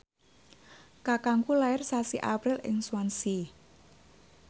kakangku lair sasi April ing Swansea